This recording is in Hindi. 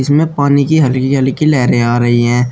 इसमें पानी की हल्की हल्की लहरें आ रही हैं।